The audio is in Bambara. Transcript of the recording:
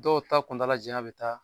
Dɔw ta kuntala janya bɛ taa